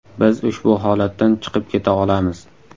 Biz ushbu holatdan chiqib keta olamiz.